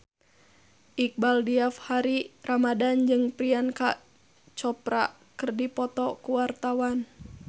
Iqbaal Dhiafakhri Ramadhan jeung Priyanka Chopra keur dipoto ku wartawan